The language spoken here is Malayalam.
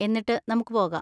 എന്നിട്ട് നമുക്ക് പോകാം.